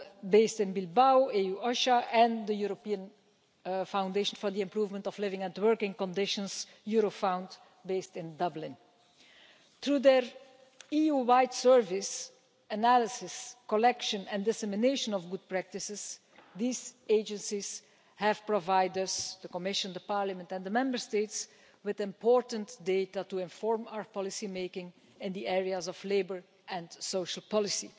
based in Bilbao, and the European Foundation for the Improvement of Living and Working Conditions based in Dublin. Through their EU wide service, analysis, collection and dissemination of good practices, these agencies have provided us, the Commission, Parliament and the Member States with important data to inform our policy making in the areas of labour and social policy.